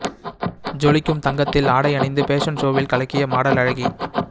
ஜொலிக்கும் தங்கத்தில் ஆடை அணிந்து பேஷன் ஷோவில் கலக்கிய மாடல் அழகி